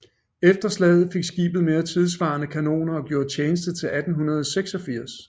Efter slaget fik skibet mere tidssvarende kanoner og gjorde tjeneste til 1886